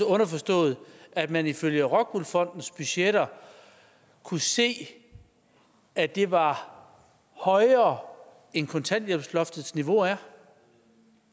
underforstået at man ifølge rockwool fondens budgetter kunne se at det var højere end kontanthjælpsloftets niveau er